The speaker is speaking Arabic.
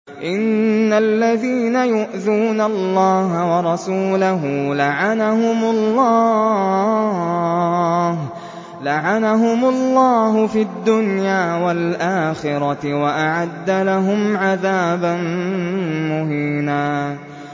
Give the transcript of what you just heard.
إِنَّ الَّذِينَ يُؤْذُونَ اللَّهَ وَرَسُولَهُ لَعَنَهُمُ اللَّهُ فِي الدُّنْيَا وَالْآخِرَةِ وَأَعَدَّ لَهُمْ عَذَابًا مُّهِينًا